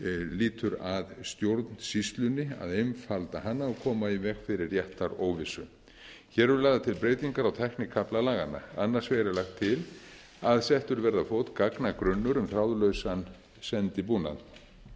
lýtur að stjórnsýslunni að einfalda hana og koma í veg fyrir réttaróvissu hér eru lagðar til breytingar á tæknikafla laganna annars vegar er lagt til að settur verði á fót gagnagrunnur um þráðlausan sendibúnað